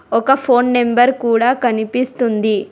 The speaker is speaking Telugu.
ఒక ఫోన్ నెంబర్ కూడా కనిపిస్తుంది.